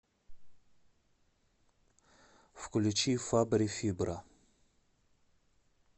включи фабри фибра